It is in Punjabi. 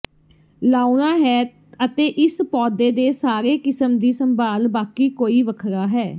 ਲਾਉਣਾ ਹੈ ਅਤੇ ਇਸ ਪੌਦੇ ਦੇ ਸਾਰੇ ਕਿਸਮ ਦੀ ਸੰਭਾਲ ਬਾਕੀ ਕੋਈ ਵੱਖਰਾ ਹੈ